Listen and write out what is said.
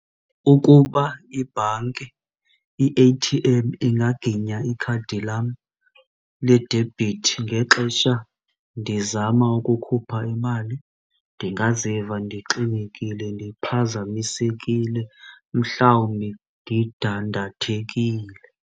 Ukuba ibhanki i-A_T_M ingaginya ikhadi lam ledebhithi ngexesha ndizama ukukhupha imali ndingaziva ndixinekile, ndiphazamisekile, mhlawumbi ndidandathekile.